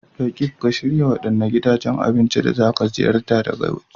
Roqeeb, ka shirya waɗanne gidajen cin abinci na waje da za ku ziyarta?